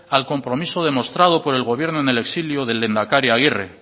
al compromiso demostrado por el gobierno en el exilio del lehendakari aguirre